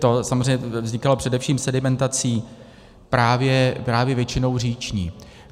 To samozřejmě vznikalo především sedimentací, právě většinou říční.